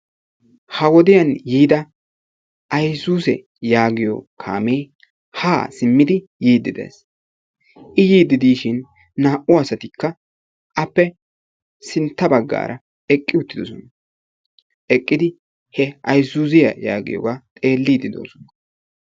Ha wodiyan yiida aysuuze yaagiyo kaamee ha simmidi yiiddi de'ees. I yiide de'ishin naa"u asatikka appe sinttaa baggaara eqqi uttidoosona. Eqqidi he Ayzuuziyaa yaagiyooga xeelide de'oosona.